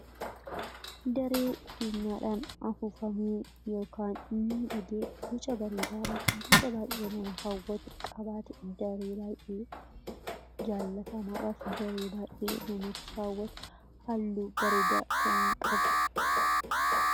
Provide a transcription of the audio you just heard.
daree fiinyaadhaan afuufamee yookaan miidhagee guca bareedaadhaaf guca baay'ee nama hawwatu qabaate daree baay'ee jaallatamaadhaaf daree baay'ee namatti hawwatu halluu bareedaa kan qabu.